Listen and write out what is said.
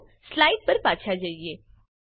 ચાલો સ્લાઇડ્ પર પાછા જઈએ